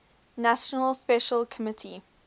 nations special committee